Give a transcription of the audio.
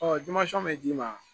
bɛ d'i ma